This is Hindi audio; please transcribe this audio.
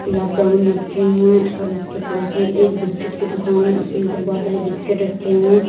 गुलाब जामुन रखे हुए और इसके पड़ोस में एक बिस्किट की दुकान है इसमें से बहुत सारे बिस्किट रखे हुए।